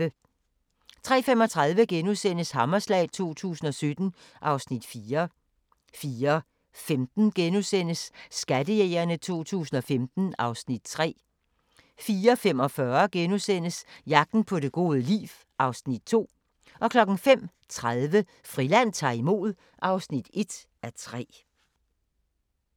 03:35: Hammerslag 2017 (Afs. 4)* 04:15: Skattejægerne 2015 (Afs. 3)* 04:45: Jagten på det gode liv (Afs. 2)* 05:30: Friland ta'r imod (1:3)